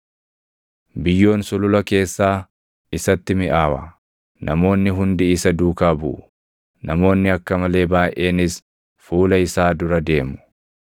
Biyyoon sulula keessaa isatti miʼaawa; namoonni hundi isa duukaa buʼu; namoonni akka malee baayʼeenis fuula isaa dura deemu.